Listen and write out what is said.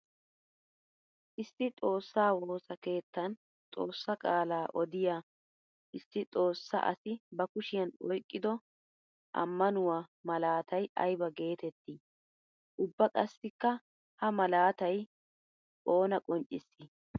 Issi xoosa woossa keettan xoosa qaala odiya issi xoosa asi ba kushiyan oyqqiddo amanuwa malattay aybba geetetti? Ubba qassikka ha malatay oonna qonccissi?